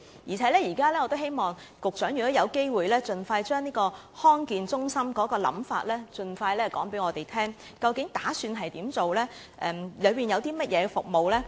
如果有機會，我希望局長盡快將地區康健中心的構思告訴我們，究竟當局打算怎樣做，以及當中會提供甚麼服務呢？